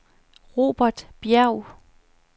Robert Bjerg